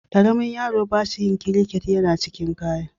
Kwaron yaro ba ƙashi/ kiriket yana shiga cikin kaya.